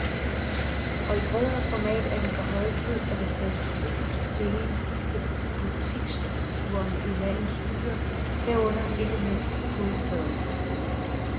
Og i bredere format er det på høje tid, at der tages politisk stilling til butiksstrukturen i landets byer, herunder ikke mindst hovedstaden.